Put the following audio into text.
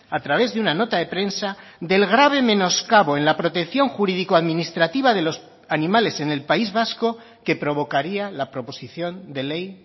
a través de una nota de prensa del grave menoscabo en la protección jurídico administrativa de los animales en el país vasco que provocaría la proposición de ley